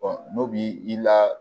n'o b'i i la